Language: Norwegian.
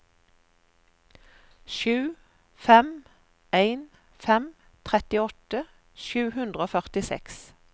sju fem en fem trettiåtte sju hundre og førtiseks